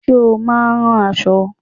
Ṣé o máa ń rán aṣọ?